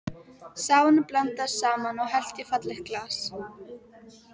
Safanum blandað saman og hellt í fallegt glas.